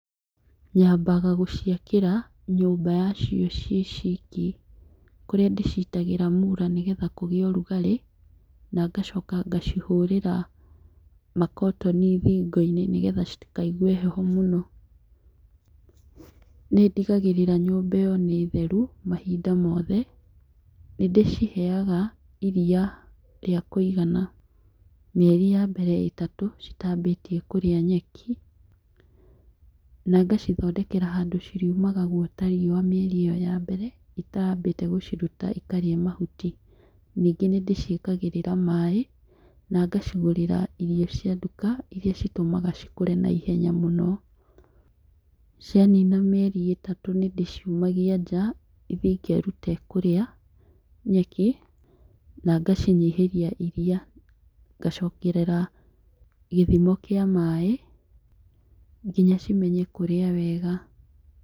Nyambaga gũciakĩra nyũmba yacio ciĩ ciki, kũrĩa ndĩcitagĩra mũra nĩgetha cigĩe ũrugarĩ na ngacoka ngacihũrĩra makotoni thingo-inĩ nĩgetha citikaigue heho mũno, nĩ ndigagĩrĩra nyũmba ĩyo nĩ theru mahinda mothe, nĩ ndĩciheaga iria rĩa kũigana mĩeri ya mbere ĩtatũ citambĩtie kũrĩa nyeki na ngacithondekera handũ ciriumaga gwota riũa mĩeri ĩyo ya mbere ĩtambĩte gũciruta ikarĩe mahuti, ningĩ nĩ ndĩciĩkagĩrĩra maĩ na ngacigũrĩra irio cia duka iria citũmaga cikũre na ihenya mũno. Cianina mĩeri ĩtatũ nĩ ndĩciumagia nja ithiĩ ikerute kũrĩa nyeki na ngacinyihĩria iria, ngaciongerera gĩthimo kĩa maĩ nginya cimenye kũrĩa wega.